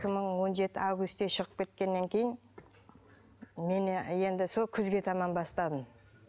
мың он жеті августе шығып кеткеннен кейін мен енді сол күзге таман бастадым